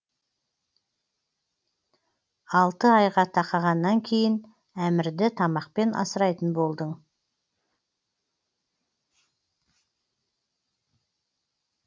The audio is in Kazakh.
алты айға тақағаннан кейін әмірді тамақпен асырайтын болдың